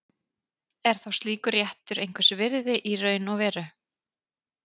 Er þá slíkur réttur einhvers virði í raun og veru?